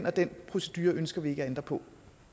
og den procedure ønsker vi ikke at ændre på